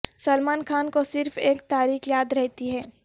سلمان خان کو صرف ایک تاریخ یاد رہتی ہے